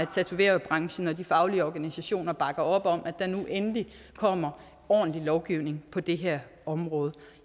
tatoveringsbranchen og de faglige organisationer bakker op om at der nu endelig kommer ordentlig lovgivning på det her område